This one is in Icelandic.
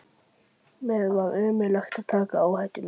Mér var ómögulegt að taka áhættuna.